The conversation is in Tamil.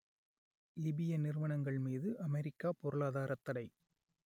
லிபிய நிறுவனங்கள் மீது அமெரிக்கா பொருளாதாரத் தடை